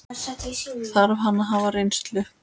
Þarf hann að hafa reynslu?